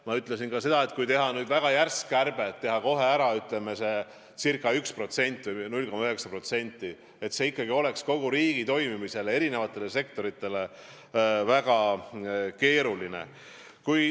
Ma ütlesin ka seda, et kui teha nüüd väga järsk kärbe, püüda saavutada kohe, ütleme, ca 1% või 0,9%, siis see oleks kogu riigi toimimise ja eri sektorite seisukohast väga keeruline.